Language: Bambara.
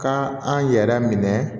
Ka an yɛrɛ minɛ